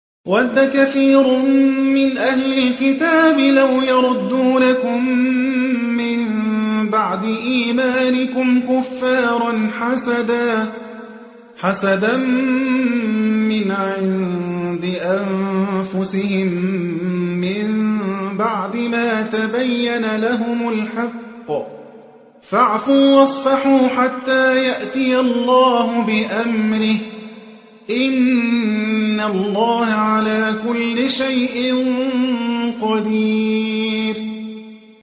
وَدَّ كَثِيرٌ مِّنْ أَهْلِ الْكِتَابِ لَوْ يَرُدُّونَكُم مِّن بَعْدِ إِيمَانِكُمْ كُفَّارًا حَسَدًا مِّنْ عِندِ أَنفُسِهِم مِّن بَعْدِ مَا تَبَيَّنَ لَهُمُ الْحَقُّ ۖ فَاعْفُوا وَاصْفَحُوا حَتَّىٰ يَأْتِيَ اللَّهُ بِأَمْرِهِ ۗ إِنَّ اللَّهَ عَلَىٰ كُلِّ شَيْءٍ قَدِيرٌ